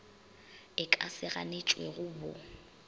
e ka se ganetšwego bo